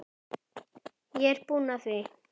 Ég er búinn að því.